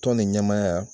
Tɔn ni ɲɛmaaya